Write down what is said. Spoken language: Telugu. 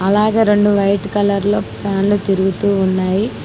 అలాగే రెండు వైట్ కలర్ లో ఫ్యాన్లు తిరుగుతూ ఉన్నాయి.